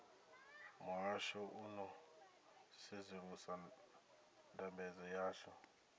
muhasho u ḓo sedzulusa ndambedzo yavho